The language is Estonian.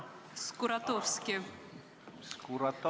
Skuratovski!